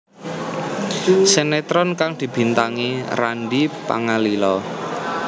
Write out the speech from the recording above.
Sinetron kang dibintangi Randy Pangalila